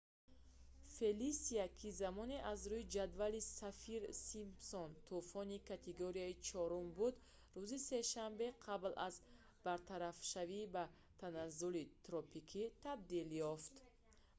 фелисия ки замоне аз рӯи ҷадвали саффир-симпсон тӯфони категорияи 4-уми буд рӯзи сешанбе қабл аз бартарафшавӣ ба таназзули тропикӣ табдил ёфт